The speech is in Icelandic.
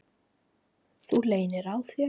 Þú leynir á þér!